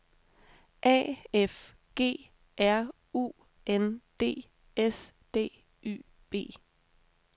A F G R U N D S D Y B